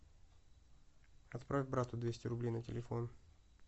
отправь брату двести рублей на телефон